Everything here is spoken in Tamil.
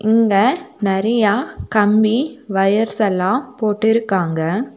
இங்க நெறைய கம்பி வயர்ஸ் எல்லாம் போட்டுருக்காங்க.